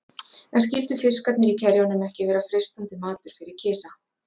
En skyldu fiskarnir í kerjunum ekki vera freistandi matur fyrir kisa?